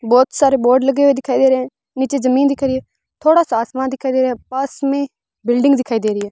बहोत सारे बोर्ड लगे हुए दिखाई दे रहे हैं नीचे जमीन दिख रही है थोड़ा सा आसमान दिखाई दे रहा है पास में बिल्डिंग दिखाई दे रही है।